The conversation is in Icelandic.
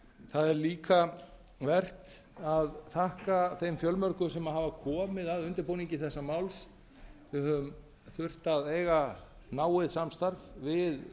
það er líka vert að þakka þeim fjölmörgu sem hafa komið að undirbúningi þessa máls við höfum þurft að eiga náið samstarf við